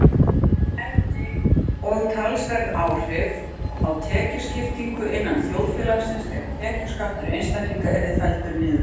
Það hefði og talsverð áhrif á tekjuskiptingu innan þjóðfélagsins ef tekjuskattur einstaklinga yrði felldur niður.